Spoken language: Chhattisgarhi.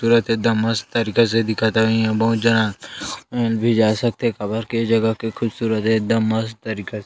तुरत एकदम मस्त तरीका से दिखत हवे इहा बहुत जना वो भी जा सकथे काबर के जगह के खूबसूरत एकदम मस्त तरीका से --